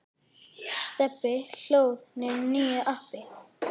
Stebbi hlóð niður nýju appi.